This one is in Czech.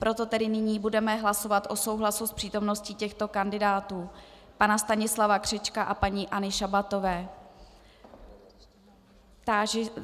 Proto tedy nyní budeme hlasovat o souhlasu s přítomností těchto kandidátů: pana Stanislava Křečka a paní Anny Šabatové.